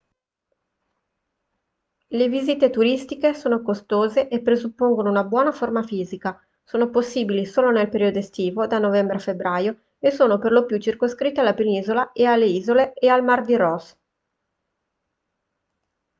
le visite turistiche sono costose e presuppongono una buona forma fisica sono possibili solo nel periodo estivo da novembre a febbraio e sono per lo più circoscritte alla penisola alle isole e al mare di ross